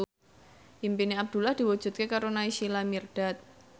impine Abdullah diwujudke karo Naysila Mirdad